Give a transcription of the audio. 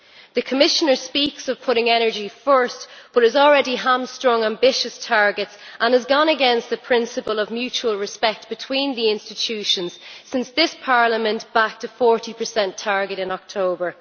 The Commissioner speaks of putting energy first, but has already hamstrung ambitious targets and has gone against the principle of mutual respect between the institutions since this Parliament backed a 40 target in October.